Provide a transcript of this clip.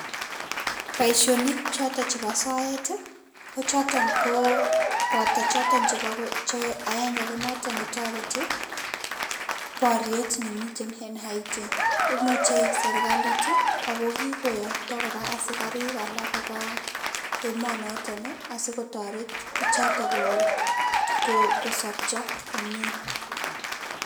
Bisonik chotok chebo soet ko choton ko, boto choton che agenge notok ne toreti boryet ne miten en Haiti. Imuche serikalit, akokikoyokto kora asikarik alak kobaa emoo notok, asikotoret bichotok kosobcho komye